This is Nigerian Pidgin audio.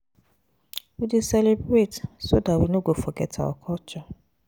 We dey celebrate so dar we know go forget our culture.